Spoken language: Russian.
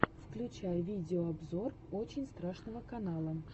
включай видеообзор очень страшного канала